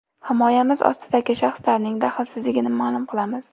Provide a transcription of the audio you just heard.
Himoyamiz ostidagi shaxsning daxlsizligini ma’lum qilamiz.